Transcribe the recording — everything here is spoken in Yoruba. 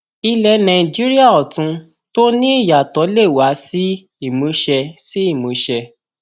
ilé nàìjíríà ọtún tó ní ìyàtọ lè wá sí ìmúṣẹ sí ìmúṣẹ